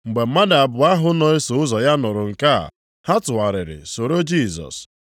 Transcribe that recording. Mgbe mmadụ abụọ ahụ na-eso ụzọ ya nụrụ nke a, ha tụgharịrị soro Jisọs.